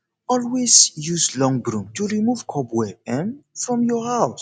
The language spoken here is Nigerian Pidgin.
always use long broom to remove cobweb um from your house